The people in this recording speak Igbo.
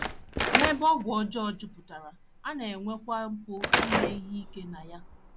N’ebe ọgwụ ọjọọ jupụtara, a na - enwekwa mpụ ime ihe ike na ya.